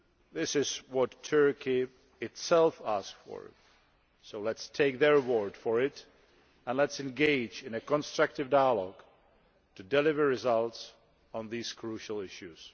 This is what Turkey itself asked for so let us take their word for it and let us engage in a constructive dialogue to deliver results on these crucial issues.